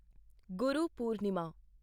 Guru Purnima